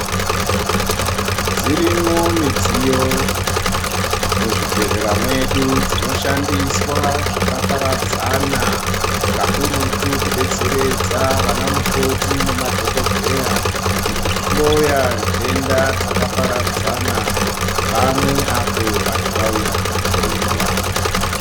Dzirimwo midziyo muzvibhedhlera mwedu dzinoshandiswa zvakaparadzana kakurutu kudetseredza vana mukoti nemadhokodheya mukhuhloya ntenda dzakaparadzana pamwe apo vantu vauya kuzohloiwa.